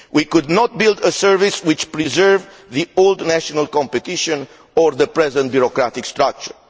We should not build a service which preserves the old national competition or the present bureaucratic structure.